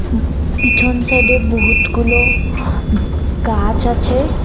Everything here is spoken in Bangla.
উম পিছন সাইডে বহুতগুলো গাছ আছে।